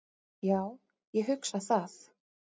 Já, ég hugsa það.